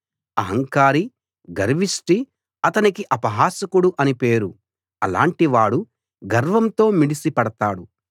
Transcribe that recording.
అహంకారి గర్విష్టిఅతనికి అపహాసకుడు అని పేరు అలాంటివాడు గర్వంతో మిడిసి పడతాడు